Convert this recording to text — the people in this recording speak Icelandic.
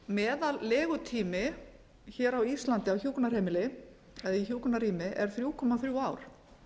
meðal legutími hér á íslandi á hjúkrunarheimili eða í hjúkrunarrými er þrjú komma þrjú ár